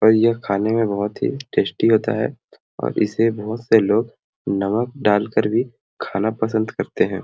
और यह खाने में बहुत टेस्टी होता है और इसे बहुत से लोग नमक डाल कर भी खाना पसंद करते है।